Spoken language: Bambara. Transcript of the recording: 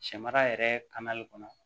Sɛmara yɛrɛ ka nali kɔnɔ